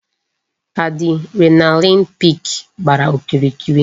Adrenaline peak gbàrà okirikiri